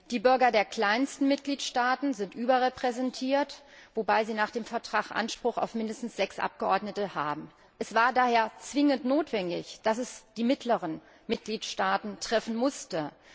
Die Bürger der kleinsten Mitgliedstaaten sind überrepräsentiert, wobei sie nach dem Vertrag Anspruch auf mindestens sechs Abgeordnete haben. Es war daher zwingend notwendig, dass es die mittleren Mitgliedstaaten treffen musste.